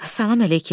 Salam əleyküm.